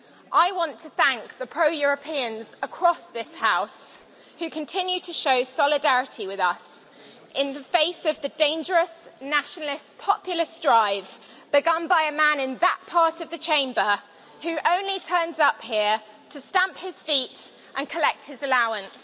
I want to thank the pro Europeans across this House, who continue to show solidarity with us in the face of the dangerous nationalist populist drive begun by a man in that part of the Chamber, who only turns up here to stamp his feet and collect his allowance.